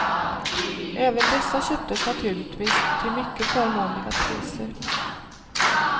Även dessa köptes naturligtvis till mycket förmånliga priser.